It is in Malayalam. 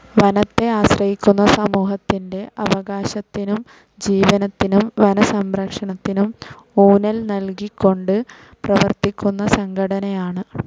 വനത്തെ ആശ്രയിക്കുന്ന സമൂഹത്തിൻ്റെ അവകാശത്തിനും ജീവനത്തിനും വനസംരക്ഷണത്തിനു ഊന്നൽ നൽകികൊണ്ട് പ്രവർത്തിക്കുന്ന സംഘടനയാണ്.